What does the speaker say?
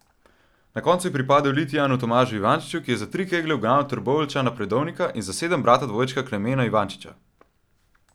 Na koncu je pripadel Litijanu Tomažu Ivančiču, ki je za tri keglje ugnal Trboveljčana Predovnika in za sedem brata dvojčka Klemena Ivančiča.